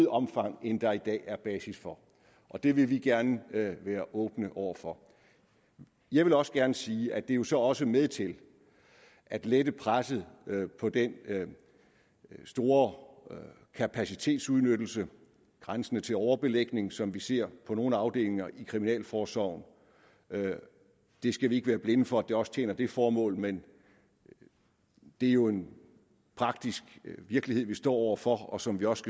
omfang end der i dag er basis for og det vil vi gerne være åbne over for jeg vil også gerne sige at det jo så også er med til at lette presset på den store kapacitetsudnyttelse grænsende til overbelægning som vi ser på nogle afdelinger i kriminalforsorgen vi skal ikke være blinde for at det også tjener det formål men det er jo en praktisk virkelighed vi står over for og som vi også